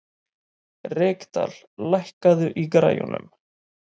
Reykdal, lækkaðu í græjunum.